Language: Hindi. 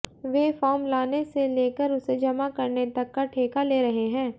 वे फॉर्म लाने से लेकर उसे जमा करने तक का ठेका ले रहे हैं